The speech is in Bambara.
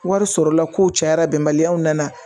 Wari sɔrɔla kow cayara bɛnbaliyaw nana